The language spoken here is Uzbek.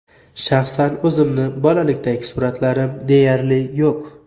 Shaxsan o‘zimni bolalikdagi suratlarim deyarli yo‘q.